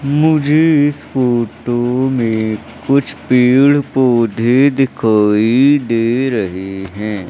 मुझे इस फोटो में कुछ पेड़ पौधे दिखाई दे रहे हैं।